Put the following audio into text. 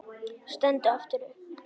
Stendur aftur upp.